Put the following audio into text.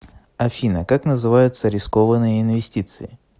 афина как называются рискованные инвестиции